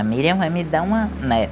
A Miriam vai me dar uma neta.